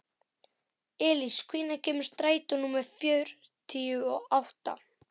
Elís, hvenær kemur strætó númer fjörutíu og átta?